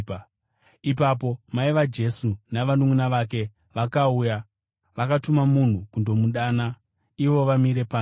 Ipapo mai vaJesu navanunʼuna vake vakauya. Vakatuma munhu kundomudana ivo vamire panze.